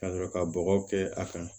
Ka sɔrɔ ka bɔgɔ kɛ a kan